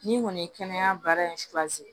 N'i kɔni ye kɛnɛya baara in susan